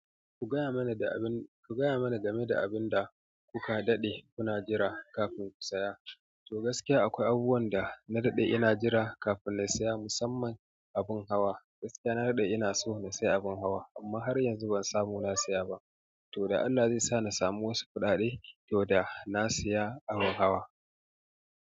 Ku gaya mana game da abin da kuka daɗe kuna jira kafin ku saya. To gaskiya akwai abubuwan da na daɗe ina jira kafin na saya musamman abin hawa. Gaskiya na daɗe ina so na saya abin hawa amma har yanzu ban samu na saya ba. To da Allah zai sa na samu wasu kuɗaɗe to da na saya abin hawa.